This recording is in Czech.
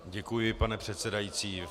Děkuji, pane předsedající.